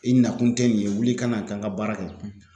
I nakun te nin ye wuli i ka na taa n ka baara kɛ